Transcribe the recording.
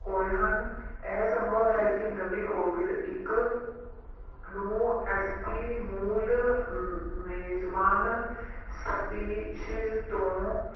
ਹੋਏ ਹਨ ਇਹ ਸੰਭਵ ਹੈ ਕਿ ਨਵੀਂ COVID ਇੱਕ ਨੂੰ ਇਸਦੀ ਮੂਲ ਅਮ ਮੇਜਮਾਨ species ਤੋਂ